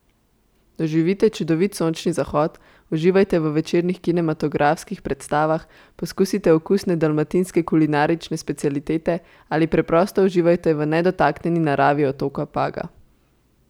Doživite čudovit sončni zahod, uživajte v večernih kinematografskih predstavah, poskusite okusne dalmatinske kulinarične specialitete ali preprosto uživajte v nedotaknjeni naravi otoka Paga.